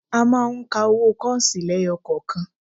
A máa ń ka owó kọ́ọ̀sì lẹ́yọkọ̀kan